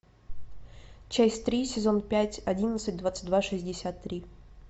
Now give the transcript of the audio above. часть три сезон пять одиннадцать двадцать два шестьдесят три